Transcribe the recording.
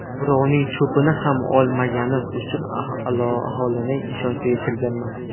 Birovning cho‘pini ham olmaganim uchun aholining ishonchiga kirganman.